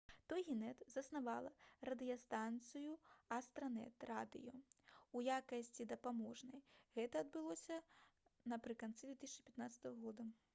«тогінэт» заснавала радыёстанцыю «астранэт радыё» у якасці дапаможнай. гэта адбылося напрыканцы 2015 г